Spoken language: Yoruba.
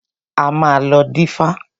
A máa lọ dífá.